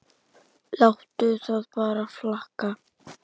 Láttu það bara flakka!